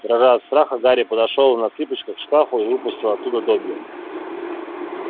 дрожа от страха гарри подошёл на цыпочках к шкафу и выпустил оттуда добби